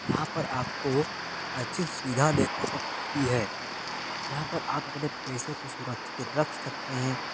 यहाँ पर आपको अच्छी सुविधा देखने को मिलती है यहाँ पर आप अपने पेसो को सुरक्षित रख सकते हैं।